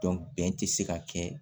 bɛn tɛ se ka kɛ